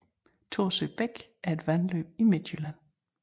Thorsø Bæk er et vandløb i Midtjylland